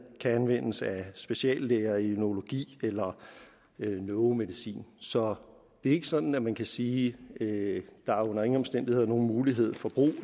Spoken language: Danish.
kan anvendes af speciallæger i neurologi eller neuromedicin så det er ikke sådan at man kan sige at der under ingen omstændigheder er nogen mulighed for brug